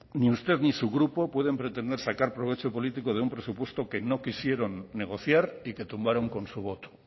ni usted ni su grupo pueden pretender sacar provecho político de un presupuesto que no quisieron negociar y que tumbaron con su voto